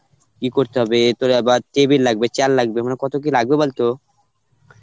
কি করতে হবে, তোর আবার table লাগবে chair লাগবে মানে কত কি লাগবে বলতো